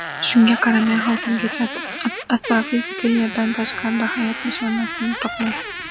Shunga qaramay, hozirgacha astrofizika Yerdan tashqarida hayot nishonasini topmagan.